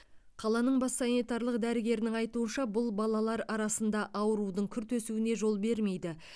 қаланың бас санитарлық дәрігерінің айтуынша бұл балалар арасында аурудың күрт өсуіне жол бермейді